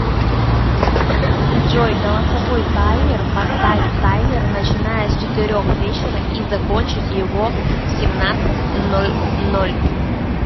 джой голосовой таймер поставь таймер начиная с четырех вечера и закончить его в семнадцать ноль ноль